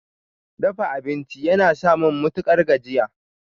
Dafa abinci yana samun matukar gajiya.